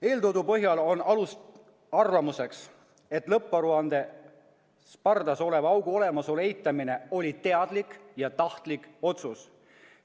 Eeltoodu põhjal on alust arvata, et lõpparuandes pardas oleva augu olemasolu eitamine oli teadlik ja tahtlik otsus.